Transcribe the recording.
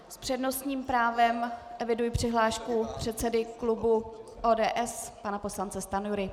S přednostním právem eviduji přihlášku předsedy klubu ODS, pana poslance Stanjury.